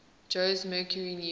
jose mercury news